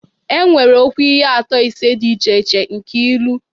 Enwere okwu ihe atụ ise dị iche iche: nke ilu